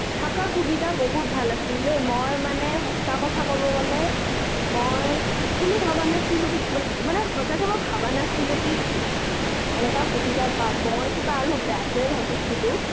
অ তাঁতে আছিলো আমি । থকা সুবিধা বহুত ভাল আছিল ৰে , মই মানে সঁচা কথা কবলৈ গলে, মই actually ভবা নাছিলো মানে মই সঁচাকৈ ভবা নাছিলো কি এনেকা সুবিধা পাম, মই আৰু কিবা বেয়াতো ভাবিছিলো